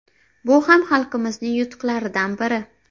Bu ham xalqimizning yutuqlaridan biri”.